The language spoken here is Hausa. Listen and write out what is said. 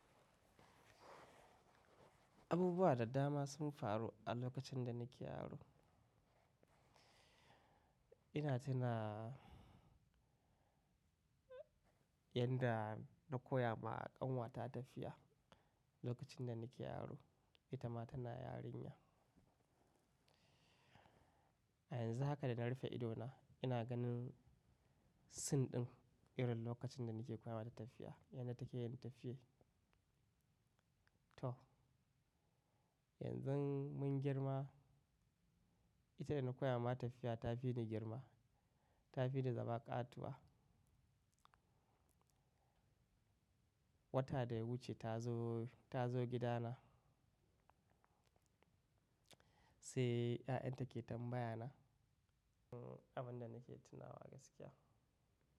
Abubuwa da dama sun faru a lokacin da nake yaro. Ina tuna yanda na koya ma kanwata tafiya lokacin da nake yaro, ita ma tana yarinya. A yanzu haka da na rufe idona, ina ganin scene ɗin irin lokacin da nake koya mata tafiya, yadda take yin tafiye. To, yanzu mun girma, ita da na koya mata tafiya ta fi ni girma, ta fi ni zama ƙatuwa. Wata da ya wuce ta zo, ta zo gidana, sai ya'yan ta ke tambaya na abin da nake tunawa gaskiya.